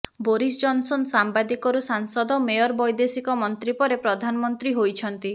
Boris Johnson ସାମ୍ୱାଦିକରୁ ସାଂସଦ mayor ବୈଦେଶିକ ମନ୍ତ୍ରୀ ପରେ ପ୍ରଧାନମନ୍ତ୍ରୀ ହୋଇଛନ୍ତି